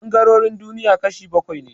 Ɓangarorin duniya kashi bakwai ne